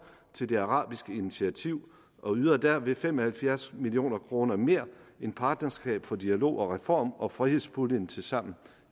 til det arabiske initiativ og yder derved fem og halvfjerds million kroner mere end partnerskab for dialog og reform og frihedspuljen tilsammen